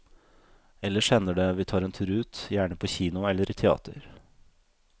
Ellers hender det vi tar en tur ut, gjerne på kino eller i teater.